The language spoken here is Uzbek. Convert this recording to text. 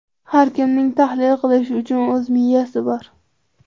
Har kimning tahlil qilish uchun o‘z miyasi bor.